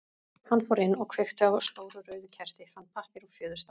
Hann fór inn og kveikti á stóru rauðu kerti, fann pappír og fjöðurstaf.